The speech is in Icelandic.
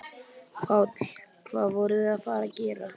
Páll: Hvað voruð þið að fara að gera?